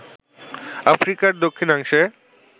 আফ্রিকার দক্ষিণাংশের